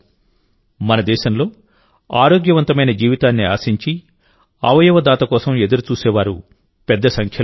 మన దేశంలోఆరోగ్యవంతమైన జీవితాన్ని ఆశించి అవయవ దాత కోసం ఎదురుచూసేవారు పెద్ద సంఖ్యలో ఉన్నారు